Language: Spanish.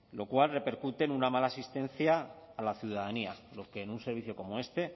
lo cual repercute en una mala asistencia a la ciudadanía lo que en un servicio como este